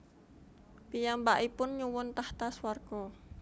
Piyambakipun nyuwun tahta swarga